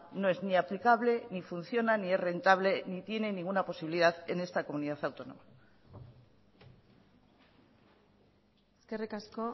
no es ni aplicable ni funciona ni es rentable ni tiene ninguna posibilidad en esta comunidad autónoma eskerrik asko